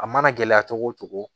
A mana gɛlɛya cogo o cogo